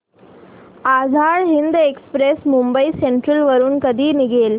Azad Hind express Mumbai central वरून कधी निघेल